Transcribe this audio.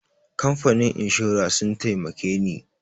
Kamfanin inshora sun taimake ni.